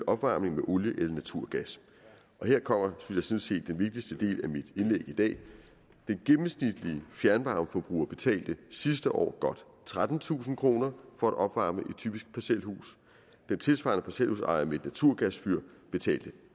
opvarmning med olie eller naturgas her kommer synes jeg sådan set den vigtigste del af mit indlæg i dag den gennemsnitlige fjernvarmeforbruger betalte sidste år godt trettentusind kroner for at opvarme et typisk parcelhus den tilsvarende parcelhusejer med et naturgasfyr betalte